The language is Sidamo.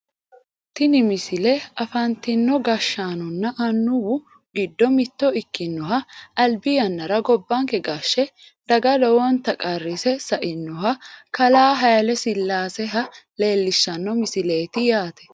tini misile afantino gashshaanonna annuwu giddo mitto ikkinoha albi yannara gobbanke gashshe daga lowonta qarrise sa"inoha kalaa hayiile sillaaseha leellishshanno misileeti yaate